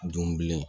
Dun bilen